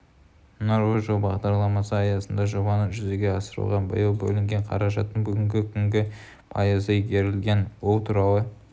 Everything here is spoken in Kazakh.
нұрлы жол бағдарламасы аясында жобаны жүзеге асыруға биыл бөлінген қаражаттың бүгінгі күні пайызы игерілген бұл туралы